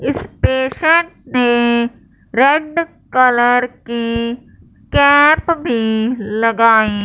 इस पेशेंट ने red colour की कैप भी लगाई--